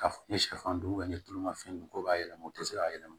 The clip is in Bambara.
Ka ni sɛfan dun ne ye tulu ma fɛn dun ko b'a yɛlɛma u tɛ se k'a yɛlɛma